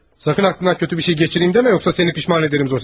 Sakın ağlından pis bir şey keçirim demə yoxsa səni peşman edərəm Zosimov.